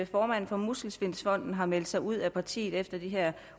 formanden for muskelsvindfonden har meldt sig ud af partiet efter at de her